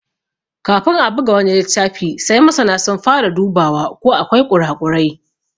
Kafin a buga wani littafi sai masana sun fara dubawa ko akwai ƙura ƙurai.